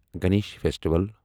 Ganesh festival